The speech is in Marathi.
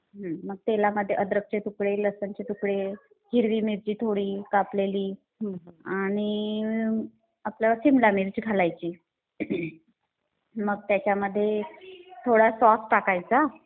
हु मग ते तेलामध्ये अद्रकचे तुकडे, लसूणचे तुकडे, हिरवी मिरची थोडी कापलेली आणि आपलं सिमला मिर्च घालायची. मग त्यांच्यामध्ये थोडा सॉस टाकायचा.